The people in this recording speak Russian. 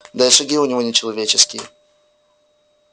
да и шаги у него не человеческие